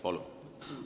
Palun!